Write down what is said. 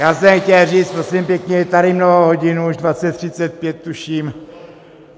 Já jsem chtěl říct: Prosím pěkně, je tady mnoho hodin, už 20.35, tuším.